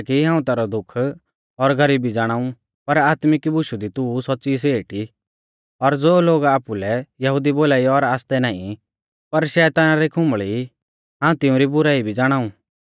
हाऊं तैरौ दुख और गरीबी ज़ाणाऊ पर आत्मिक बुशु दी तू सौच़्च़ी सेठ ई और ज़ो लोग आपुलै यहुदी बोलाई और आसतै नाईं पर शैताना री खुंबल़ी ई हाऊं तिऊं री बुराई भी ज़ाणाऊ